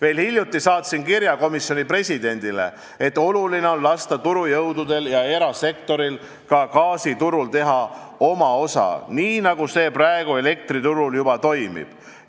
Alles hiljuti saatsin komisjoni presidendile kirja, et oluline on lasta turujõududel ja erasektoril ka gaasiturul teha oma osa, nii nagu see praegu elektriturul juba toimib.